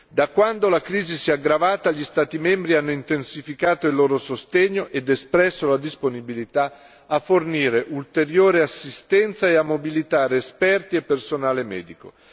Da quando la crisi si è aggravata, gli Stati membri hanno intensificato il loro sostegno ed espresso la disponibilità a fornire ulteriore assistenza e a mobilitare esperti e personale medico.